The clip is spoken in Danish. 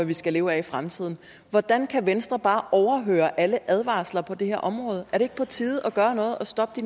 vi skal leve af i fremtiden hvordan kan venstre bare overhøre alle advarsler på det her område er det ikke på tide at gøre noget og stoppe